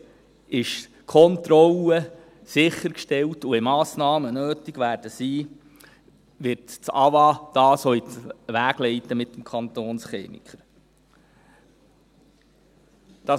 Dort ist die Kontrolle sichergestellt, und wenn Massnahmen nötig sein werden, wird das Amt für Wasser und Abfall (AWA) dies mit dem Kantonschemiker auch in die Wege leiten.